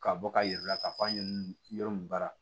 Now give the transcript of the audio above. Ka bɔ ka yir'u la k'a fɔ an ye yɔrɔ min baara